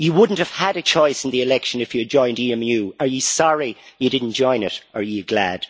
You would not have had a choice in the election if you had joined EMU. Are you sorry you did not join it, or are you glad?